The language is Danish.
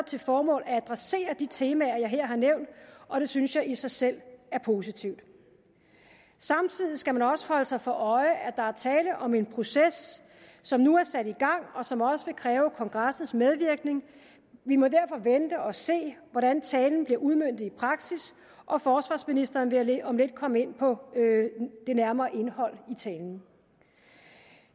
til formål at adressere de temaer jeg her har nævnt og det synes jeg i sig selv er positivt samtidig skal man også holde sig for øje at der er tale om en proces som nu er sat i gang og som også vil kræve kongressens medvirken vi må derfor vente og se hvordan talen bliver udmøntet i praksis og forsvarsministeren vil om lidt komme ind på det nærmere indhold i talen